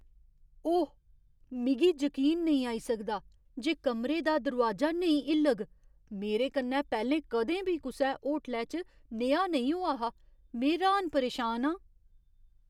ओह्, मिगी जकीन नेईं आई सकदा जे कमरे दा दरोआजा नेईं हिल्लग! मेरे कन्नै पैह्ले कदें बी कुसै बी होटलै च नेहा नेईं होआ हा। में र्हान परेशान आं!